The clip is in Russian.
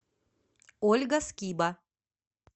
ольга скиба